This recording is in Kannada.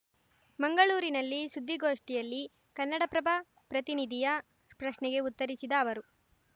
ಮಂಗಳೂರಿನಲ್ಲಿ ಸುದ್ದಿಗೋಷ್ಠಿಯಲ್ಲಿ ಕನ್ನಡಪ್ರಭ ಪ್ರತಿನಿಧಿಯ ಪ್ರಶ್ನೆಗೆ ಉತ್ತರಿಸಿದ ಅವರು